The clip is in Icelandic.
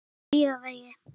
Hlíðavegi